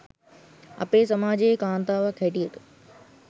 අපේ සමාජයේ කාන්තාවක් හැටියට